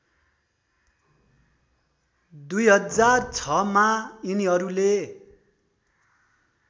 २००६ मा यिनीहरूले